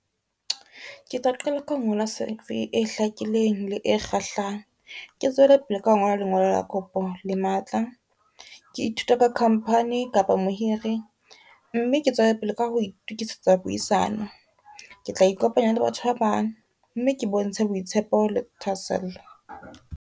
Ke tla qala ka ho ngola C_V e hlakileng le e kgahlang. Ke tswele pele ka ho ngola lengolo la kopo le matla, ke ithute ka company kapa mohiri, mme ke tswele pele ka ho itukisetsa puisano. Ke tla ikopanya le batho ba bang mme ke bontshe boitshepo le thahasello.